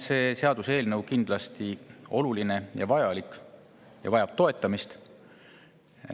See seaduseelnõu on kindlasti oluline ja vajalik ning vajab toetamist.